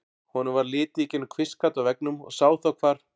Honum varð litið í gegnum kvistgat á veggnum og sá þá hvar